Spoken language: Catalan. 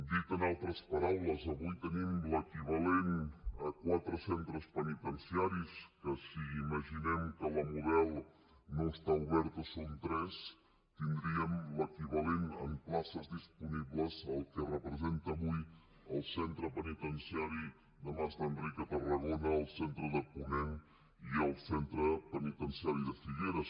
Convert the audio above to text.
dit en altres paraules avui tenim l’equivalent a quatre centres penitenciaris que si imaginem que la model no està oberta són tres tindríem l’equivalent en places disponibles al que representa avui el centre penitenciari de mas d’enric a tarragona el centre de ponent i el centre penitenciari de figueres